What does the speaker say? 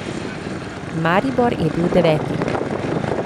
Maribor je bil deveti.